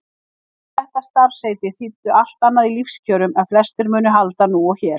En þessi starfsheiti þýddu allt annað í lífskjörum en flestir munu halda nú og hér.